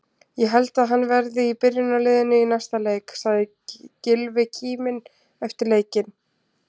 Ég held að hann verði í byrjunarliðinu í næsta leik, sagði Gylfi kíminn eftir leikinn.